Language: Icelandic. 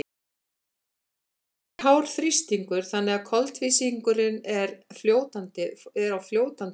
í kútunum er hár þrýstingur þannig að koltvísýringurinn er á fljótandi formi